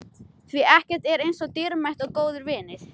Því ekkert er eins dýrmætt og góðir vinir.